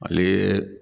Ale